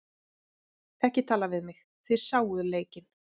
Ekki tala við mig, þið sáuð leikinn.